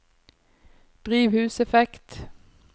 drivhuseffekt